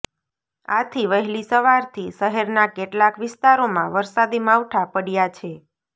આથી વહેલી સવારથી શહેરના કેટલાક વિસ્તારોમાં વરસાદી માવઠા પડ્યા છે